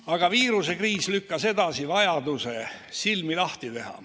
Aga viirusekriis lükkas edasi vajaduse silmi lahti teha.